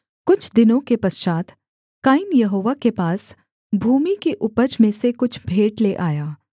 कुछ दिनों के पश्चात् कैन यहोवा के पास भूमि की उपज में से कुछ भेंट ले आया